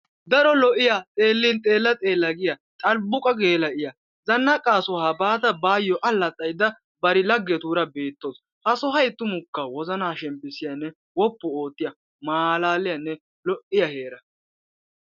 daro lo'iya xeelin xeela xeela giya xalbuqa geela'iya, zanaqaa shuwa bada baayoo alaxaydda bari lagetuura beetawusu. ha sohoy tumukka wozanaa shempiisiyaage, wopu ootiya maalaliyanne keehi loiya heera